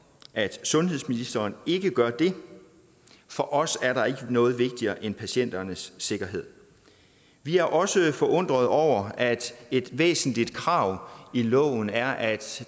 at sundhedsministeren ikke gør det for os er der ikke noget vigtigere end patienternes sikkerhed vi er også forundret over at et væsentligt krav i loven er at